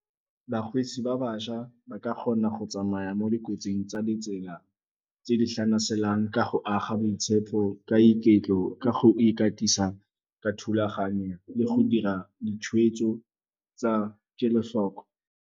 Bakgweetsi ba bašwa ba ka kgona go tsamaya mo dikotsing tsa letsela tse di tlhanaselang ka go aga boitshepo, ka iketlo, ka go ikatisa ka thulaganyo le go dira ditshwetso tsa kelotlhoko.